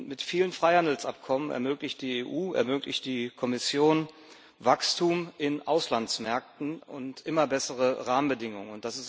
Mit vielen Freihandelsabkommen ermöglicht die EU, ermöglicht die Kommission Wachstum in Auslandsmärkten und immer bessere Rahmenbedingungen.